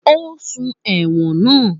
Ó sùn ẹ̀wọ̀n náà